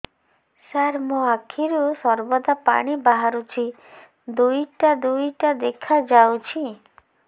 ସାର ମୋ ଆଖିରୁ ସର୍ବଦା ପାଣି ବାହାରୁଛି ଦୁଇଟା ଦୁଇଟା ଦେଖାଯାଉଛି